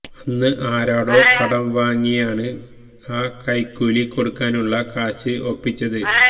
അന്ന് ആരോടോ കടം വാങ്ങിയാണ് ആ കൈക്കൂലി കൊടുക്കാനുള്ള കാശ് ഒപ്പിച്ചത്